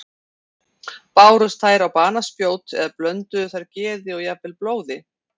Bárust þær á banaspjót eða blönduðu þær geði og jafnvel blóði?